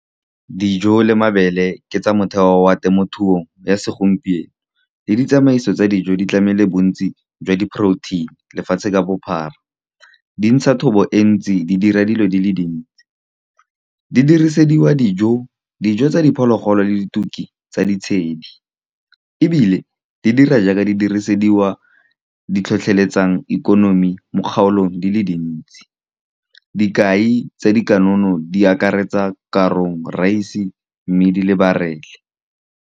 Dijo le mabele ke tsa motheo wa temothuo ya segompieno, le ditsamaiso tsa dijo di tlamele bontsi jwa di-protein-i lefatshe ka bophara. Di ntsha thobo e ntsi, di dira dilo di le dintsi, di dirisediwa dijo, dijo tsa diphologolo le dituki tsa ditshedi, ebile di dira jaaka di dirisediwa di tlhotlheletsang ikonomi mo kgaolong di le dintsi. Dikai tsa dikanono di akaretsa korong, rice, mmidi le barell.